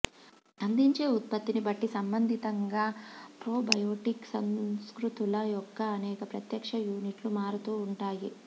అందించే ఉత్పత్తిని బట్టి సంబందితంగా ప్రోబయోటిక్ సంస్కృతుల యొక్క అనేక ప్రత్యక్ష యూనిట్లు మారుతూ ఉంటాయి